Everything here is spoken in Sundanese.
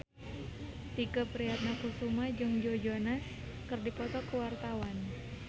Tike Priatnakusuma jeung Joe Jonas keur dipoto ku wartawan